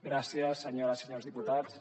gràcies senyores i senyors diputats